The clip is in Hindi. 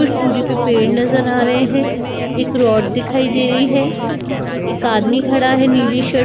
कुछ दूरी पे पेड़ नजर आ रहे हैं एक रोड दिखाई दे रही हैं एक आदमी खड़ा है नीली शर्ट --